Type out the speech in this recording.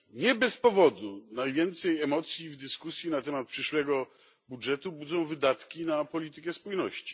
Nie bez powodu najwięcej emocji w dyskusji na temat przyszłego budżetu budzą wydatki na politykę spójności.